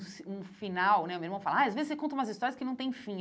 um final né o meu irmão fala, ah às vezes você conta umas histórias que não tem fim.